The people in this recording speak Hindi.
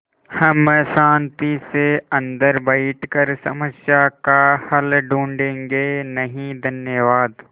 हम शान्ति से अन्दर बैठकर समस्या का हल ढूँढ़े गे नहीं धन्यवाद